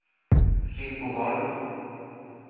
Rydboholm